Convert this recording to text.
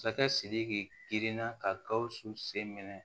Masakɛ sidiki girinna ka gawusu sen minɛ